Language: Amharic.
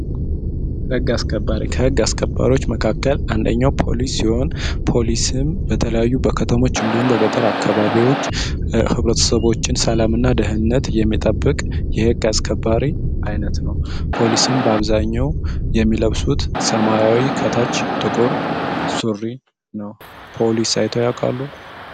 ሕግ አስከባሪ ከሕግ አስከባሪዎች መካከል አንደኛው ፖሊስ ሲሆን ፖሊስም በተለያዩ በከተሞች እንዲሁን በገጠር አካባቢዎች ኅብረትሰቦችን ሰላምእና ደህነት የሚጠብቅ የሕቅ አስከባሪ አይነት ነው። ፖሊስም በአብዛኘው የሚለብሱት ሰማያዊ ከታች ጥቁር ሱሪ ነው። ፖሊስ ሳይቶ ያቋሉ?